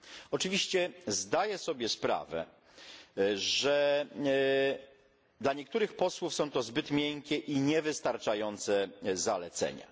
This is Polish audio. Oczywiście zdaję sobie sprawę, że dla niektórych posłów są to zbyt miękkie i niewystarczające zalecenia.